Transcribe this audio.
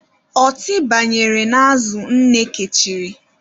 Ọtị banyere n'azụ nne kechiri.